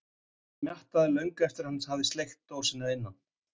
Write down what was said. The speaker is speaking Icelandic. Hann smjattaði löngu eftir að hann hafði sleikt dósina að innan.